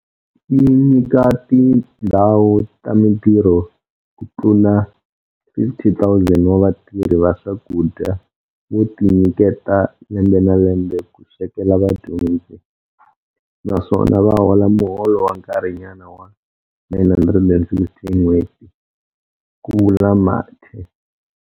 Yi nyika tindhawu ta mitirho ku tlula 50 000 wa vatirhi va swakudya vo tinyiketa lembe na lembe ku swekela vadyondzi, naswona va hola muholo wa nkarhinyana wa R960 hi nhweti, ku vula Mathe.